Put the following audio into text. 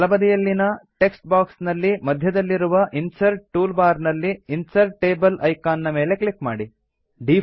ಬಲಬದಿಯಲ್ಲಿನ text box ನಲ್ಲಿ ಮಧ್ಯದಲ್ಲಿರುವ insert tool bar ನಲ್ಲಿ ಇನ್ಸರ್ಟ್ ಟೇಬಲ್ ಐಕಾನ್ ನ ಮೇಲೆ ಕ್ಲಿಕ್ ಮಾಡಿ